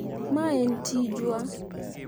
ma en tijwa